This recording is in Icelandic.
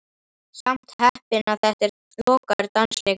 Samt heppinn að þetta er lokaður dansleikur.